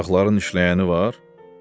Uşaqların işləyəni var?